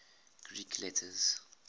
greek letters